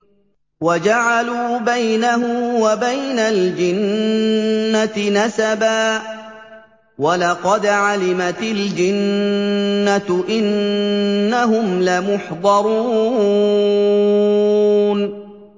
وَجَعَلُوا بَيْنَهُ وَبَيْنَ الْجِنَّةِ نَسَبًا ۚ وَلَقَدْ عَلِمَتِ الْجِنَّةُ إِنَّهُمْ لَمُحْضَرُونَ